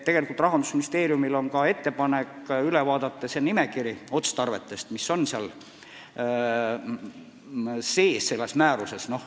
Rahandusministeeriumil ongi ettepanek vaadata üle otstarvete nimekiri, mis selles määruses sees on.